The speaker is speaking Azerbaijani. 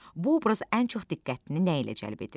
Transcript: Bu obraz ən çox diqqətini nə ilə cəlb edir?